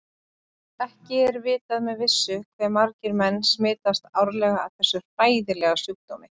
Ekki er vitað með vissu hve margir menn smitast árlega af þessum hræðilega sjúkdómi.